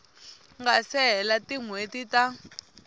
nga se hela tinhweti ta